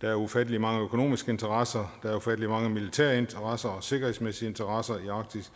der er ufattelig mange økonomiske interesser der er ufattelig mange militære interesser og sikkerhedsmæssige interesser i arktis